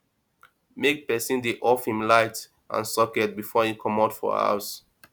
make person de off him lights and socets before him comot for house